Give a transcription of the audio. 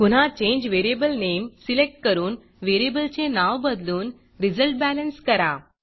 पुन्हा change variable name select करून variable चे नाव बदलून resultBalanceरिज़ल्ट बॅलेन्स करा